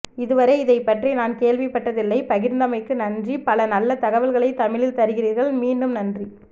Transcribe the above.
இதுவரை இதைப் பற்றி நான் கேள்விப் பட்டதில்லை பகிர்ந்தமைக்கு நன்றி பல நல்ல தகவல்களை தமிழில் தருகிறீர்கள் மீண்டும் நன்றி